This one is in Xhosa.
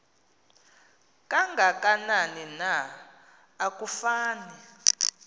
kangakanani na akufani